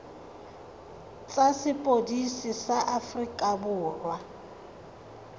tsa sepodisi sa aforika borwa